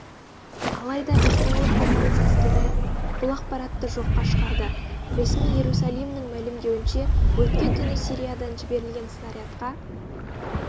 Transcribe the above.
алайда израиль қорғаныс әскері бұл ақпаратты жоққа шығарды ресми иерусалимнің мәлімдеуінше өткен түні сириядан жіберілген снарядқа